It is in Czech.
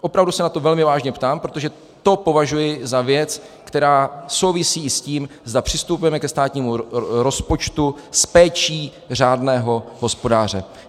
Opravdu se na to velmi vážně ptám, protože to považuji za věc, která souvisí s tím, zda přistupujeme ke státnímu rozpočtu s péčí řádného hospodáře.